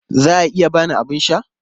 Za a iya ba ni abin sha?